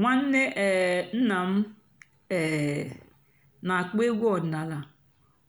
ǹwànnè um nná m um nà-àkpọ́ ègwú ọ̀dị́náàlà